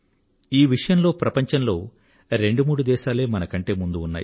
ఈ విషయంలో ప్రపంచంలో రెండు మూడు దేశాలే మనకంటే ముందున్నాయి